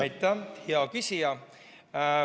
Aitäh, hea küsija!